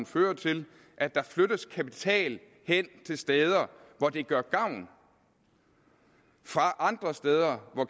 fører til at der flyttes kapital hen til steder hvor den gør gavn fra andre steder hvor